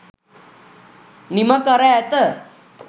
නිමකර ඇත